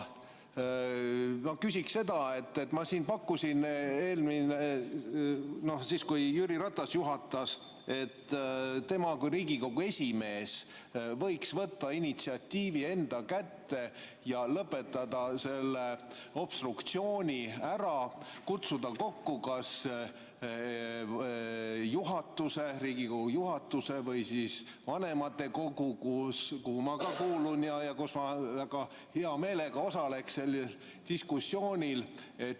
Ma pakkusin siis, kui Jüri Ratas juhatas, et tema kui Riigikogu esimees võiks võtta initsiatiivi enda kätte ja lõpetada see obstruktsioon ära, kutsuda kokku kas Riigikogu juhatuse või vanematekogu, kuhu ma ka kuulun, ja ma väga hea meelega osaleksin sellel diskussioonil.